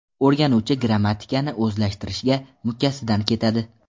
O‘rganuvchi grammatikani o‘zlashtirishga mukkasidan ketadi.